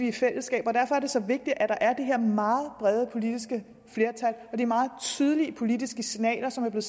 et fællesskab derfor er det så vigtigt at der er det her meget brede politiske flertal og de meget tydelige politiske signaler som er